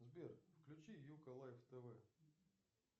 сбер включи юко лайв тв